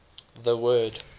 the word